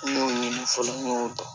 N y'o fɔlɔ n y'o dɔn